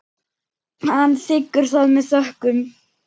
Hann þiggur það með þökkum.